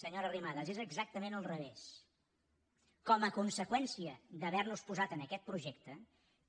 senyora arrimadas és exactament al revés com a conseqüència d’havernos posat en aquest projecte